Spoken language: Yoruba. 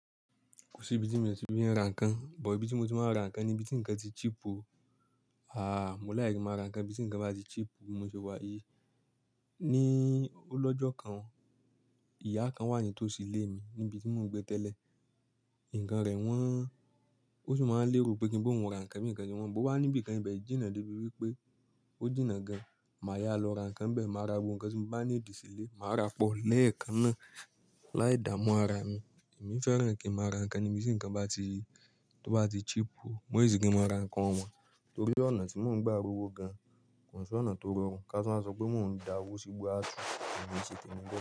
Kò síbi tí mi ò ti fi ń ra nǹkan, but ibi tí mo ti máa ń ra nǹkan ni ibi tí nǹkan ti cheap o. Àà, mo like kí n máa ra nǹkan ńbi tí nǹkan bá ti cheap, bí mo ṣe wà yìí. Ní ó lọ́jọ́ kan, ìyá kan wà ní tòsí ilé mi níbi tí mò ń gbé tẹ́lẹ̀. Nǹkan rẹ̀ wọ́n. Ó sì máa ń lérò pé kí n b'óun ra nǹkan bí nǹkan ṣe wọ́n. Ó wá níbìkan, ìbẹ̀ jìnnà débi wípé ó jìnnà gan-an. Màá yáa lọ ra nǹkan ńbẹ̀, màá ra gbogbo nǹkan tí mo bá need sílé, màá ràá pọ̀. Lẹ́ẹ̀kan náà láì dààmú ara mi. Èmi fẹ́ràn kí ń máa ra nǹkan níbi tí nǹkan bá ti, tó bá ti cheap o. Mo hate kí ń máa ra nǹkan ọ̀wọ́n Torí ọ̀nà tí mò ń gba rówó gan-an, kò ń ṣ'ọ̀nà tó rọrùn. Ká tún wá sọ pé mò ń dawó sígbó a túù. Èmi ò ń ṣe tèmi bẹ́ẹ̀.